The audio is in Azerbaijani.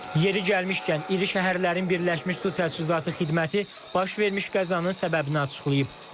Yeri gəlmişkən, iri şəhərlərin Birləşmiş Su Təchizatı Xidməti baş vermiş qəzanın səbəbini açıqlayıb.